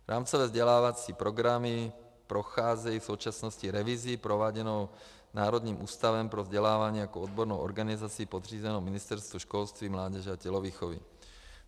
Rámcové vzdělávací programy procházejí v současnosti revizí prováděnou Národním ústavem pro vzdělávání jako odbornou organizací podřízenou Ministerstvu školství, mládeže a tělovýchovy.